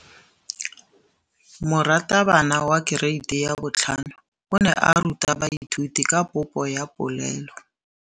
Moratabana wa kereiti ya 5 o ne a ruta baithuti ka popô ya polelô.